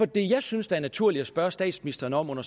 det jeg synes er naturligt at spørge statsministeren om under